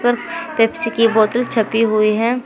Pepsi की बोतल छपी हुई है।